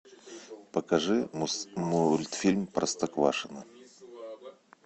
покажи мультфильм простоквашино